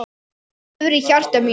Þú lifir í hjarta mínu.